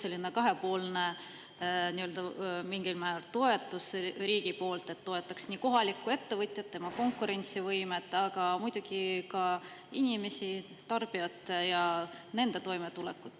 See oleks selline kahepoolne mingil määral toetus riigi poolt, et toetaks kohalikku ettevõtjat, tema konkurentsivõimet, aga muidugi ka inimesi, tarbijaid, ja nende toimetulekut.